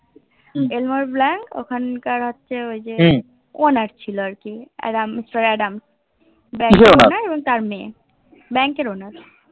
এলবার Black ওখানকার হচ্ছে ওই যে Owner ছিল আরকি মিস্টার আদম তার মেয়ে Bank এর Owner